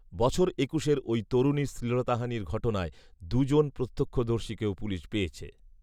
বছর একুশের ওই তরুণীর শ্লীলতাহানির ঘটনার দুজন প্রত্যক্ষদর্শীকেও পুলিশ পেয়েছে